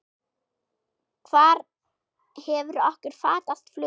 Hvar hefur okkur fatast flugið?